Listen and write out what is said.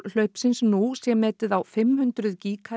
hlaupsins nú sé metið fimm hundruð